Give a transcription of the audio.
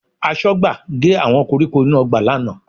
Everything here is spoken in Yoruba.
Aṣọ́gbà gé àwọn koríko inú ọgbà lánàá